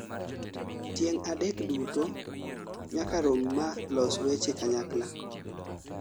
tieng' adek duto nyaka rom maa los weche kanyakla